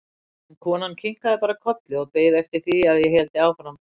En konan kinkaði bara kolli og beið eftir því að ég héldi áfram.